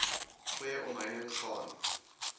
goeie omheining gaan